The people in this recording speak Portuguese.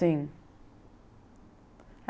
Sim.